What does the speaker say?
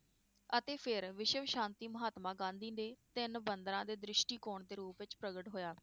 ਅਤੇ ਫੇਰ ਵਿਸ਼ਵ ਸ਼ਾਂਤੀ ਮਹਾਤਮਾ ਗਾਂਧੀ ਨੇ ਤਿੰਨ ਬੰਦਰਾਂ ਦੇ ਦ੍ਰਿਸ਼ਟੀਕੋਣ ਦੇ ਰੂਪ ਵਿਚ ਪ੍ਰਗਟ ਹੋਇਆ